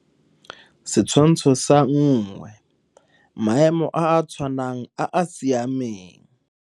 Setshwantsho sa 1. Maemo a a tshwanang a a siameng.